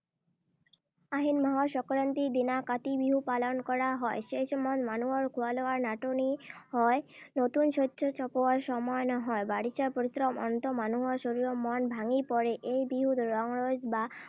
আহিন মাহৰ সংক্ৰান্তিৰ দিনা কাতি বিহু পালন কৰা হয়। সেই সময়ত মানুহৰ খোৱা-লোৱাৰ নাটনি হয়৷ নতুন শস্য চপোৱাৰ সময় নহয়। বাৰিষাৰ পৰিশ্ৰমৰ অন্ত মানুহৰ শৰীৰ-মন ভাগি পৰে। এই বিহুত ৰং-ৰহইচ বা